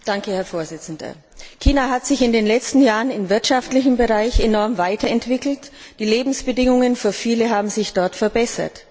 Herr Präsident! China hat sich in den letzten Jahren im wirtschaftlichen Bereich enorm weiterentwickelt. Die Lebensbedingungen für viele haben sich dort verbessert.